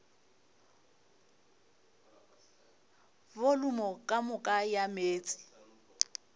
volumo ka moka ya meetse